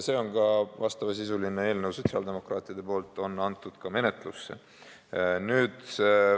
Sotsiaaldemokraadid on sellekohase sisuga eelnõu menetlusse andnud.